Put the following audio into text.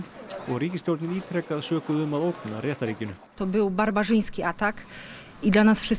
og ríkisstjórnin ítrekað sökuð um að ógna réttarríkinu